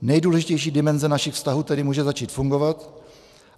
Nejdůležitější dimenze našich vztahů tedy může začít fungovat.